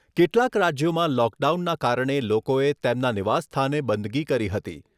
કેટલાક રાજ્યોમાં લોકડાઉનના કારણે લોકોએ તેમના નિવાસ સ્થાને બંદગી કરી હતી.